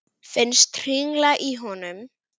Finnst hringla í honum.